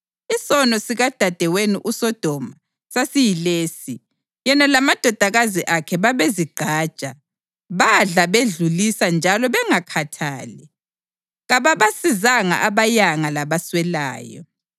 Isono sikadadewenu uSodoma sasiyilesi: Yena lamadodakazi akhe babezigqaja, badla bedlulisa njalo bengakhathali; kababasizanga abayanga labaswelayo.